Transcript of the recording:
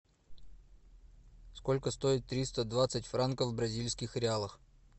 сколько стоит триста двадцать франков в бразильских реалах